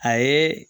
A ye